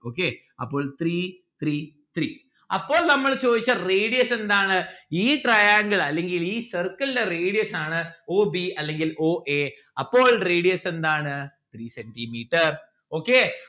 okay അപ്പോൾ three three three അപ്പോൾ നമ്മൾ ചോദിച്ച radius എന്താണ്? ഈ triangle അല്ലെങ്കിൽ ഈ circle ന്റെ radius ആണ് o b അല്ലെങ്കിൽ o a അപ്പോൾ radius എന്താണ്? three centi metre okay